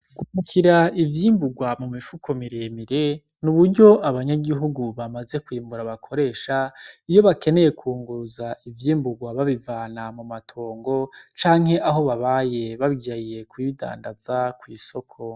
Guhunikira ivyimburwa mu mifuko miremire n'uburyo abanyagihugu bamaze kwimbura bakoresha iyo bakeneye kunguruza ivyimburwa babivana mu matongo canke aho babaye bagiye kubidandaza kw'isoko.